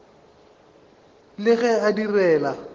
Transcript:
e le ge a direla